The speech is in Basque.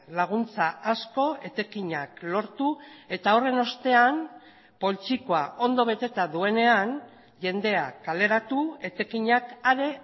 laguntza asko etekinak lortu eta horren ostean poltsikoa ondo beteta duenean jendea kaleratu etekinak are